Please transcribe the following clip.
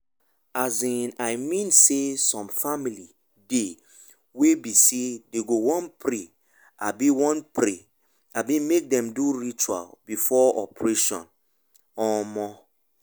um i mean saysome family dey wey be say dem go wan pray abi wan pray abi make dem do ritual before operation. um